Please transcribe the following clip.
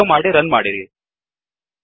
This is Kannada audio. ಸೇವ್ ಮಾಡಿ ರನ್ ಮಾಡಿರಿ